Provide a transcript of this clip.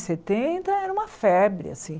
setenta, era uma febre, assim.